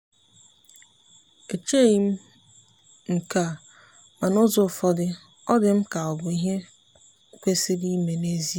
echeghị m nke a ma n'ụzọ ụfọdụ ọ dị m ka ọ bụ ihe kwesịrị ime n’ezie.